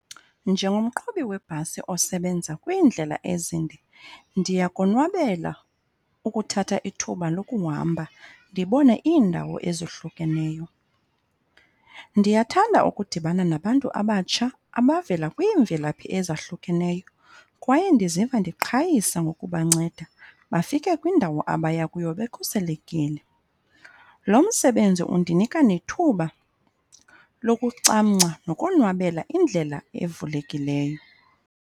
Njengomqhubi webhasi osebenza kwiindlela ezimbi ndiyakonwabela ukuthatha ithuba lokuhamba ndibone iindawo ezohlukeneyo. Ndiyathanda ukudibana nabantu abatsha abavela kwiimvelaphi ezahlukeneyo kwaye ndiziva ndiqhayisa ngokubanceda bafike kwindawo abaya kuyo bekhuselekile. Lo msebenzi undinika nethuba lokucamgca nokonwabela indlela evulekileyo.